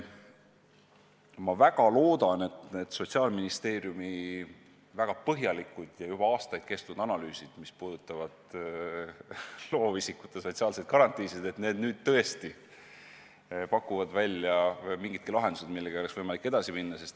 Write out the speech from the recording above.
Ma väga loodan, et need Sotsiaalministeeriumi väga põhjalikud ja juba aastaid kestnud analüüsid, mis puudutavad loovisikute sotsiaalseid garantiisid, nüüd tõesti pakuvad välja mingidki lahendused, millega oleks võimalik edasi minna.